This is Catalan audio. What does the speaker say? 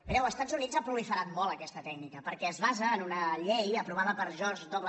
mireu als estats units ha proliferat molt aquesta tècnica perquè es basa en una llei aprovada per george w